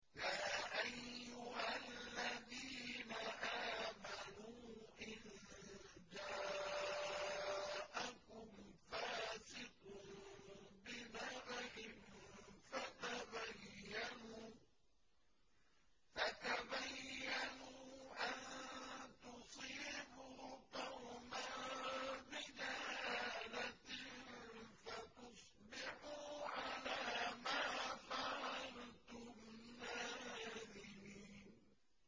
يَا أَيُّهَا الَّذِينَ آمَنُوا إِن جَاءَكُمْ فَاسِقٌ بِنَبَإٍ فَتَبَيَّنُوا أَن تُصِيبُوا قَوْمًا بِجَهَالَةٍ فَتُصْبِحُوا عَلَىٰ مَا فَعَلْتُمْ نَادِمِينَ